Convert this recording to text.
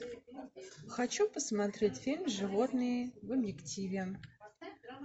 хочу посмотреть фильм животные в объективе